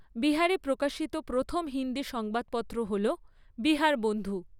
বিহারে প্রকাশিত প্রথম হিন্দি সংবাদপত্র হল 'বিহারবন্ধু'।